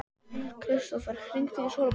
Kristófer, hringdu í Sólborgu.